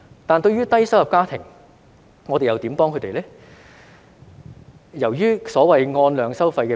但對於低收入家庭，我們又如何幫助他們呢？